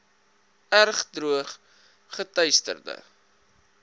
erg droog geteisterde